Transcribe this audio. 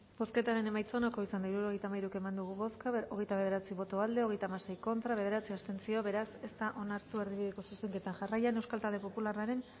bozketaren emaitza onako izan da hirurogeita hamalau eman dugu bozka hogeita bederatzi boto aldekoa hogeita hamasei contra bederatzi abstentzio beraz ez da onartu erdibideko zuzenketa jarraian euskal talde popularraren